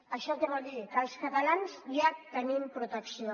això què vol dir que els catalans ja tenim protecció